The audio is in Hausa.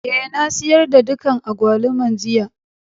Eh, na sayar da dukan agbaluman jiya.